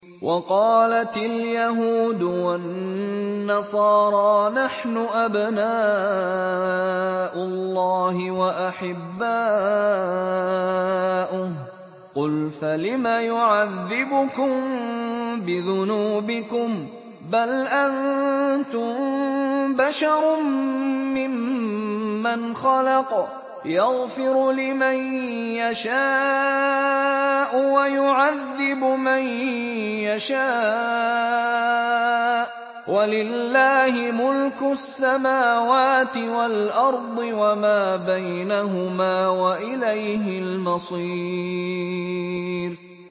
وَقَالَتِ الْيَهُودُ وَالنَّصَارَىٰ نَحْنُ أَبْنَاءُ اللَّهِ وَأَحِبَّاؤُهُ ۚ قُلْ فَلِمَ يُعَذِّبُكُم بِذُنُوبِكُم ۖ بَلْ أَنتُم بَشَرٌ مِّمَّنْ خَلَقَ ۚ يَغْفِرُ لِمَن يَشَاءُ وَيُعَذِّبُ مَن يَشَاءُ ۚ وَلِلَّهِ مُلْكُ السَّمَاوَاتِ وَالْأَرْضِ وَمَا بَيْنَهُمَا ۖ وَإِلَيْهِ الْمَصِيرُ